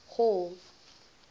hall